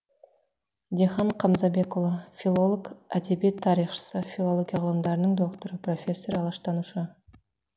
дихан қамзабекұлы филолог әдебиет тарихшысы филология ғылымдарының докторы профессор алаштанушы